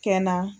Kɛ na